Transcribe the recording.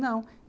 Não.